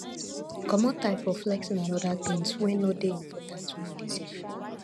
comot eye for flexing and oda things wey no dey important when you dey save